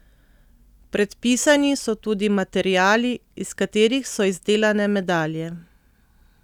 Predpisani so tudi materiali, iz katerih so izdelane medalje.